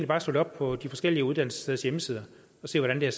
bare slå det op på de forskellige uddannelsessteders hjemmesider og se hvordan det